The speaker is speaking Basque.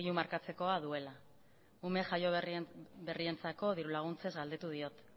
markatzeko duela ume jaioberrien dirulaguntzez galdetu diot